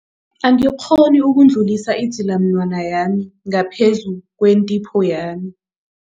Angikghoni ukudlulisa idzilamunwana yami ngaphezu kwentipho yami.